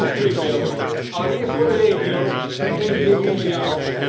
Een waar schrikbeeld, allereerst voor de regio, maar evenzeer mondiaal.